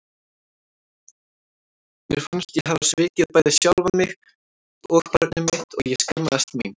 Mér fannst ég hafa svikið bæði sjálfa mig og barnið mitt og ég skammaðist mín.